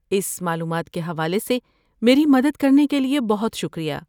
اس معلومات کے حوالے سے میری مدد کرنے کے لیے بہت شکریہ۔